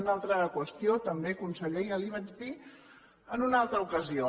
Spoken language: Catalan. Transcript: una altra qüestió també conseller ja li vaig dir en una altra ocasió